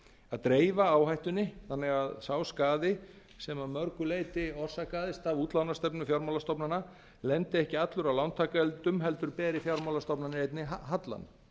að dreifa áhættunni þannig að sá skaði sem að mörgu leyti sem orsakaðist af útlánastefnu fjármálastofnana lendi ekki allur á lántakendum heldur beri fjármálastofnanir hallann